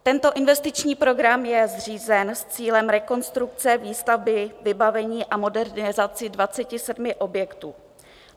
Tento investiční program je zřízen s cílem rekonstrukce, výstavby, vybavení a modernizace 27 objektů.